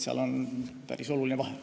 Seal on päris oluline vahe.